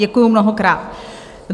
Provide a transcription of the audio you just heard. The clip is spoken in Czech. Děkuju mnohokrát.